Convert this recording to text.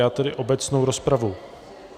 Já tedy obecnou rozpravu...